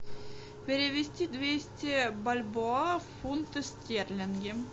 перевести двести бальбоа в фунты стерлинги